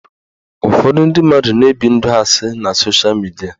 Ụfọdụ ndị mmadụ na-ebi ndụ asị na sosha midia